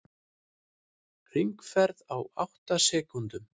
Hringferð á átta sekúndum